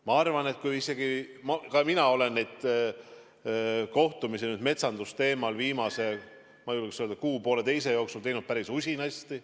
Ma arvan, et ka mina olen neid metsandusteemalisi kohtumisi viimase, ma julgeks öelda, kuu-poolteise jooksul teinud päris usinasti.